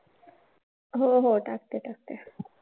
हो हो टाकते टाकते हां.